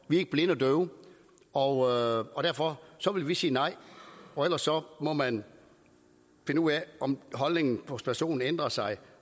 vi er ikke blinde og døve og og derfor vil vi sige nej og så må man finde ud af om holdningen hos personen ændrer sig